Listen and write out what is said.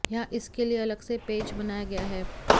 यहां इसके लिए अलग से पेज बनाया गया है